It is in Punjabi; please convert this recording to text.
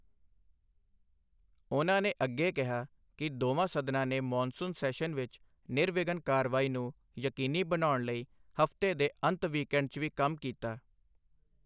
ਉਨ੍ਹਾਂ ਨੇ ਅੱਗੇ ਕਿਹਾ ਕਿ ਦੋਵਾਂ ਸਦਨਾਂ ਨੇ ਮੌਨਸੂਨ ਸੈਸ਼ਨ ਵਿੱਚ ਨਿਰਵਿਘਨ ਕਾਰਵਾਈ ਨੂੰ ਯਕੀਨੀ ਬਣਾਉਣ ਲਈ ਹਫ਼ਤੇ ਦੇ ਅੰਤ ਵੀਕਐਂਡ 'ਚ ਵੀ ਕੰਮ ਕੀਤਾ।